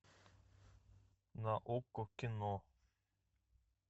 на окко кино